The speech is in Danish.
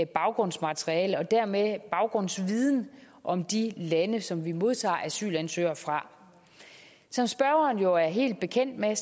baggrundsmateriale og dermed baggrundsviden om de lande som vi modtager asylansøgere fra som spørgeren jo er helt bekendt med